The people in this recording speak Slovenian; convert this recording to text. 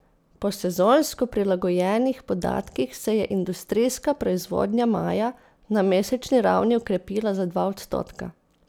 Po sezonsko prilagojenih podatkih se je industrijska proizvodnja maja na mesečni ravni okrepila za dva odstotka.